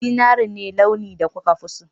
Zinari ne launin da kuka fi so